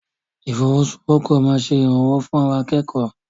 Ìfọwọ́sowọ́pọ̀ máa ṣe ìrànwọ́ fún àwa akẹ́kọ̀ọ́.